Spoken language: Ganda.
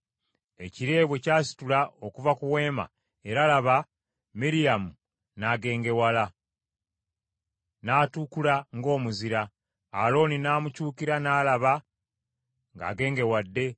Ekire bwe kyasituka okuva ku Weema, era laba, Miryamu n’agengewala, n’atukula ng’omuzira. Alooni n’amukyukira n’alaba ng’agengewadde;